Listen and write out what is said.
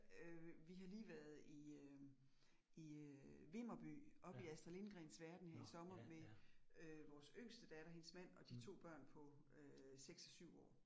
Øh vi har lige været i øh i øh Vimmerby oppe i Astrid Lindgrens verden her i sommer med øh vores yngste datter, hendes mand og de to børn på øh 6 og 7 år